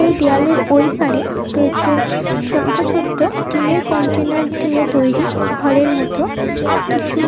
এই দেয়ালের ঐ পাড়ে রয়েছে ছোট্ট ছোট্ট টিনের কন্টেইনার দিয়ে তৈরি ঘরের মতো কিছু--